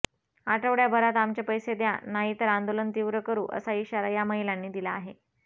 आठवड्याभरात आमचे पैसे द्या नाही तर आंदोलन तीव्र करू असा इशारा या महिलांनी दिला आहे